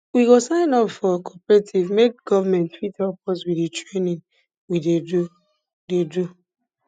we go sign up for cooperative make government fit help us with di training we dey do dey do